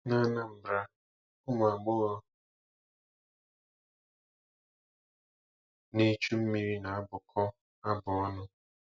N'Anambra, ụmụ agbọghọ na-echu mmiri na-abụkọ abụ ọnụ.